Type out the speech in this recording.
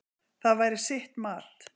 Það væri sitt mat.